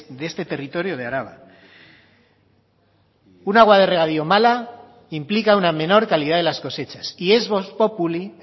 de este territorio de araba un agua de regadío mala implica una menor calidad de las cosechas y es vox populi